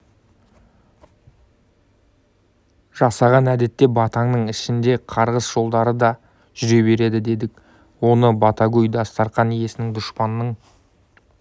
жасаған әдетте батаның ішінде қарғыс жолдары да жүре береді дедік оны батагөй дастарқан иесінің дұшпанын